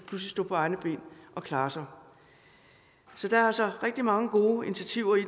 stå på egne ben og klare sig så der er altså rigtig mange gode initiativer i